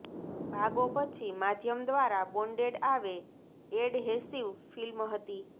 ભાગો પછી માધ્યમ દ્વારા બોન્ડેડ આવે એડહેસિવ ફિલ્મ હતી